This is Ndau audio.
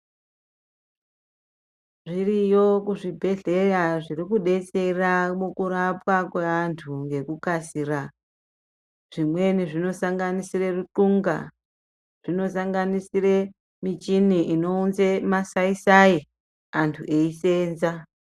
Zviriyo kuzvibhedhleya zvirikudetsera mukurapwa kweantu ngekukasira zvimweni zvinosanganisira ruxunga, zvinosanganisira michini inounze masaisai antu eiseenza.